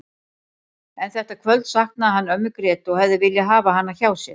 En þetta kvöld saknaði hann ömmu Grétu og hefði viljað hafa hana hjá sér.